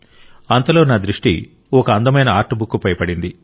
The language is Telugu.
అంతలో నా దృష్టి ఒక అందమైన ఆర్ట్ బుక్ పై పడింది